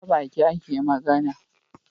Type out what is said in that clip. Ta Baki ake magAna